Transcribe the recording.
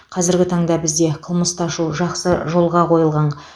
қазіргі таңда бізде қылмысты ашу жақсы жолға қойылған